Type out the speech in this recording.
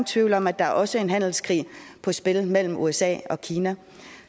tvivl om at der også er en handelskrig på spil mellem usa og kina